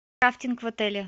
рафтинг в отеле